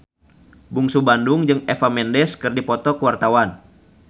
Bungsu Bandung jeung Eva Mendes keur dipoto ku wartawan